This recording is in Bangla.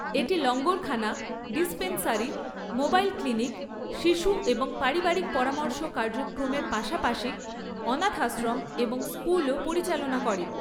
এটি লঙ্গরখানা, ডিসপেনসারি, মোবাইল ক্লিনিক, শিশু এবং পারিবারিক পরামর্শ কার্যক্রমের পাশাপাশি অনাথাশ্রম এবং স্কুলও পরিচালনা করে।